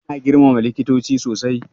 Ana girmama likitoci sosai.